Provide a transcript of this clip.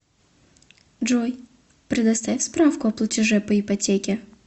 джой предоставь справку о платеже по ипотеке